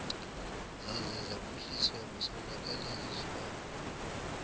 zaze zaphuhliswa kusonakaliswa